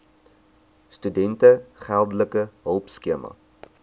studente geldelike hulpskema